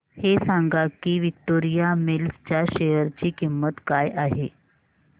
हे सांगा की विक्टोरिया मिल्स च्या शेअर ची किंमत काय आहे